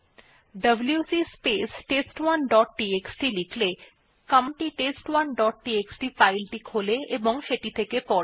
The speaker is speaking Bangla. WC space test dot TXT লিখলে কমান্ড টি test1ডট টিএক্সটি ফাইল টি খোলে এবং সেটি থেকে পড়ে